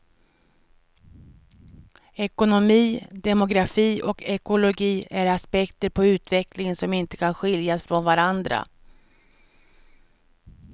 Ekonomi, demografi och ekologi är aspekter på utvecklingen som inte kan skiljas från varandra.